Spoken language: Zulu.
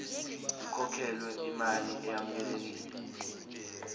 kukhokhelwe imali eyamukelekile